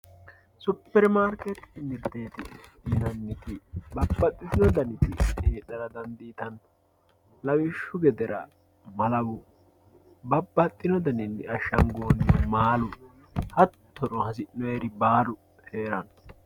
superimaarkeetete mirteeti yinanniti babbaxitino daniti heedhara dandiitanno lawishshu gedera malawu babbaxino daninni ashshangoonnihu maalu hattono hasi'noonniri baalu heeranno.